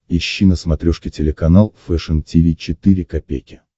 ищи на смотрешке телеканал фэшн ти ви четыре ка